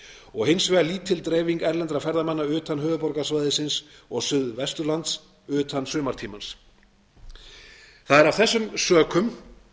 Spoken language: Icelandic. og hins vegar lítil dreifing erlendra ferðamanna utan höfuðborgarsvæðisins og suðvesturlands utan sumartímans það er af þessum sökum